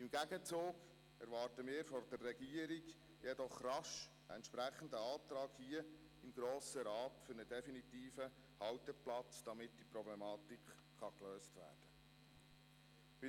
Im Gegenzug erwarten wir von der Regierung jedoch rasch einen Antrag im Grossen Rat für einen definitiven Halteplatz, damit die Problematik gelöst werden kann.